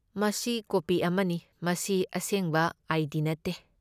ꯃꯁꯤ ꯀꯣꯄꯤ ꯑꯃꯅꯤ, ꯃꯁꯤ ꯑꯁꯦꯡꯕ ꯑꯥꯏ.ꯗꯤ. ꯅꯠꯇꯦ꯫